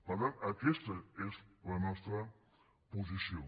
per tant aquesta és la nostra posició